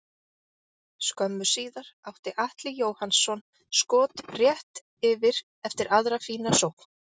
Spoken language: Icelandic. Skömmu síðar átti Atli Jóhannsson skot rétt yfir eftir aðra fína sókn.